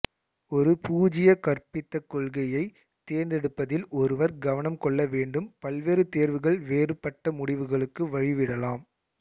ஒரு பூஜ்ய கற்பிதக் கொள்கையை தேர்ந்தெடுப்பதில் ஒருவர் கவனம் கொள்ள வேண்டும் பல்வேறு தேர்வுகள் வேறுபட்ட முடிவுகளுக்கு வழிவிடலாம்